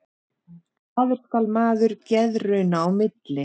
Glaður skal maður geðrauna í milli.